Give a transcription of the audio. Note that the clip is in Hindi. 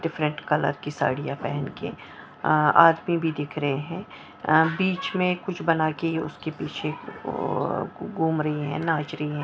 डिफरेंट कलर की साड़ियां पहन के अह आदमी भी दिख रहे हैं अह बीच में कुछ बना के उसके अह पीछे घूम रही हैं नाच रही हैं।